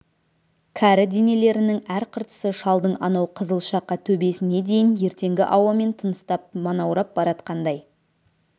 кәрі денелерінің әр қыртысы шалдың анау қызыл шақа төбесіне дейін ертеңгі ауамен тыныстап манаурап баратқандай